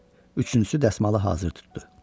Üçüncüsü dəsmalı hazır tutdu.